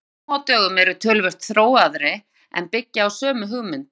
Vindmyllur nú á dögum eru töluvert þróaðri en byggja á sömu hugmynd.